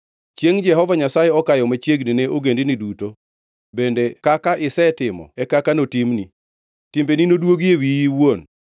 “Chiengʼ Jehova Nyasaye okayo machiegni ne ogendini duto, bende kaka isetimo e kaka notimni, timbeni nodwogi e wiyi iwuon.